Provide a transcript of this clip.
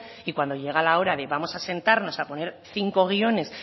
y cuando llega la hora de vamos a sentarnos a poner cinco guiones